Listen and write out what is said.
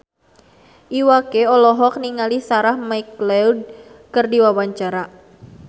Iwa K olohok ningali Sarah McLeod keur diwawancara